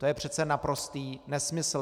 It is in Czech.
To je přece naprostý nesmysl.